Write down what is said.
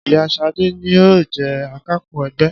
Ìyá Ṣadé ni yóò jẹ Akápò ẹgbẹ́